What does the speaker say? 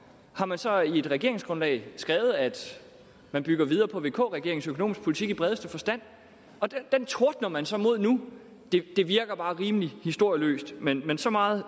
har man så i sit regeringsgrundlag skrevet at man bygger videre på vk regeringens økonomiske politik i bredeste forstand den tordner man så mod nu det virker bare rimelig historieløst men men så meget